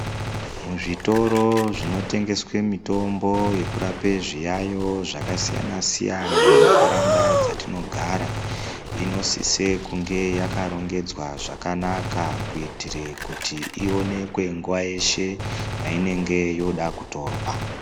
Muzvitoro zvinotengeswa mitombo yekurapa zviyayo zvakasiyana-siyana mundaraunda dzatinogara inosisa kunge yakarongedzwa zvakanaka kuitira kuti ionekwe nguwa yeshe painenge yoda kutorwa.